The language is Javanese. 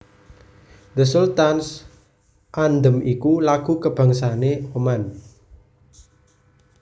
The Sultan s Anthem iku lagu kabangsané Oman